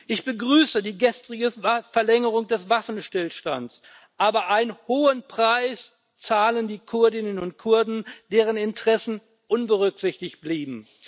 Ich begrüße die gestrige Verlängerung des Waffenstillstands, aber einen hohen Preis zahlen die Kurdinnen und Kurden, deren Interessen unberücksichtigt blieben.